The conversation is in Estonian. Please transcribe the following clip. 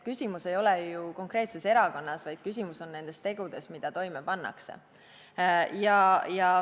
Küsimus ei ole ju mitte konkreetses erakonnas, vaid nendes tegudes, mida toime pannakse.